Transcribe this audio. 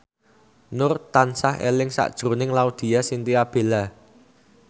Nur tansah eling sakjroning Laudya Chintya Bella